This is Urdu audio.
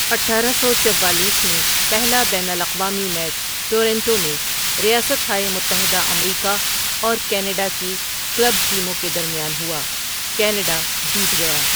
اٹھارہ سو چوالیس میں پہلا بین الاقوامی میچ ٹورنٹو میں ریاست ہائے متحدہ امریکہ اور کینیڈا کی کلب ٹیموں کے درمیان ہوا؛ کینیڈا جیت گیا۔